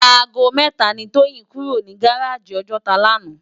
Àgó mètá ni Toyin kúró ni gáráji Òjòtá làná